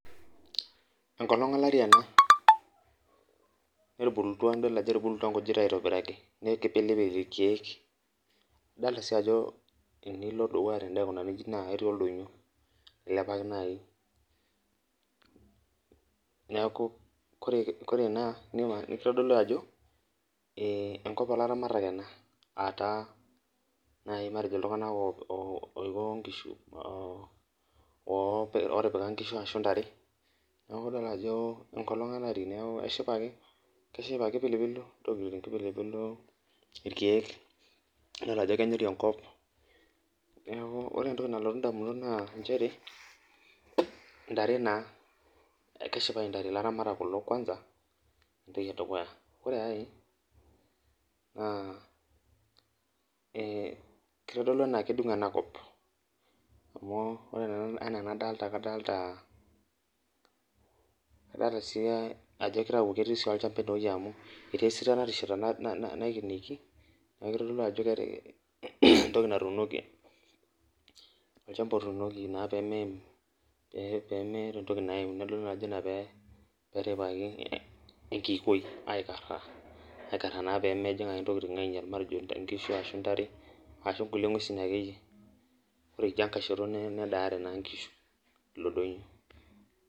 Enkolong olari ena nidol ajo etubukutua ingujit aitobiraki neekipilipil ilkiek Idolita sii ajo tenilo dukuya tende aikunari inchi naa etii oldonyo ailepaki naai niaku kore naa kitodolu ajo engop olaramatak ena aa taa matejo iltunganak oiko ngishu ootipika ngishu ashu ntare niaku idol ajo engolong olari niaku keshipa ake Ore piilo ilkiek nidol ajo kenyori enkop niaku ore entoki nalotu indamunot naa nchere ntare keshipayu intare Ilaramatak kulo kwanza entoki edukuya. Ore ai naa kitodolu enaa kedungo enakop amu ore enadolita kadolita kadolita ajo ketii sii olchamba ene amu etii enaikenieki niaku itodolu entoki natuunoki olchamba otuunoki naa pee meeim peemeeta entoki naim nedoli naa ina peerhepapi enkiikoi aikar pemeim ingishu ashu intare ashu ngulie ngwesin akeyie. Ore idia kai shoto nedaare ingishu ilo doinyio.